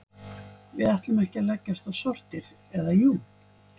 Við ætlum ekki að leggjast á sortir, eða jú.